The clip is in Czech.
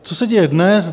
Co se děje dnes?